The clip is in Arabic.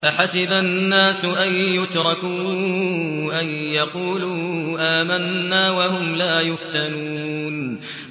أَحَسِبَ النَّاسُ أَن يُتْرَكُوا أَن يَقُولُوا آمَنَّا وَهُمْ لَا يُفْتَنُونَ